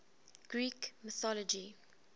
greek mythology